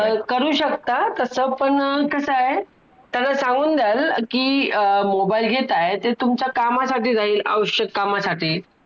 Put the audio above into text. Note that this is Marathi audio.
अनेक संदर्भ ग्रंथ जुनी वृत्तपत्रे विविध लेख यांच्या आधाराने लेखकाने हा बहुमोल वैचारिक ए वन या पुस्तक रूपाने महाराष्ट्राच्या हातात ठेवला आहे.